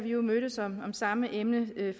jo mødtes om samme emne